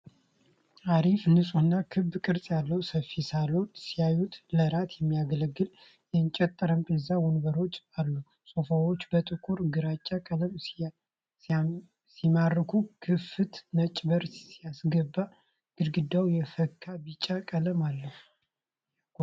አሪፍ! ንፁህና ክብ ቅርጽ ያለው ሰፊ ሳሎን ሲያዩ! ለራት የሚያገለግል የእንጨት ጠረጴዛና ወንበሮች አሉ። ሶፋዎች በጥቁርና ግራጫ ቀለም ሲማርኩ! ክፍት ነጭ በር ሲያስገባ። ግድግዳው የፈካ ቢጫ ቀለም አለው። ያጓጓል!